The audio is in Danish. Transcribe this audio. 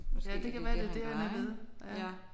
Måske det er det han leger ja